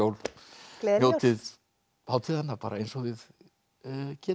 njótið hátíðanna eins og þið getið